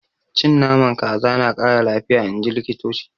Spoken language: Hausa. Cin Naman kaza na Kara lafiya inji likitoci.